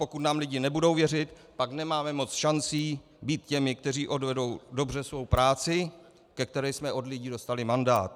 Pokud nám lidé nebudou věřit, pak nemáme moc šancí být těmi, kteří odvedou dobře svou práci, ke které jsme od lidí dostali mandát.